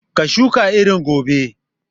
Ka shuka irin gobe!